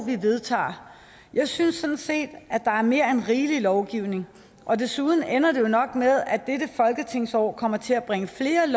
vi vedtager jeg synes sådan set at der er mere end rigelig lovgivning og desuden ender det jo nok med at dette folketingsår kommer til at bringe flere